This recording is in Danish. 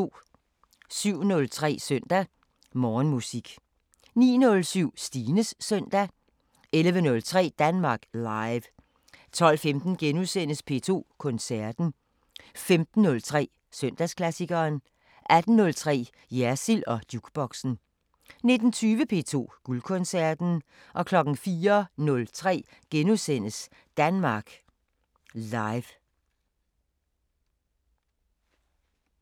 07:03: Søndag Morgenmusik 09:07: Stines Søndag 11:03: Danmark Live 12:15: P2 Koncerten * 15:03: Søndagsklassikeren 18:03: Jersild & Jukeboxen 19:20: P2 Guldkoncerten 04:03: Danmark Live *